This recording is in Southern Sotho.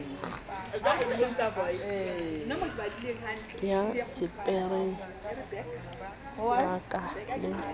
ya sephiring ya ka le